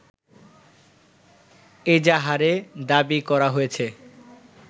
এজাহারে দাবি করা হয়েছে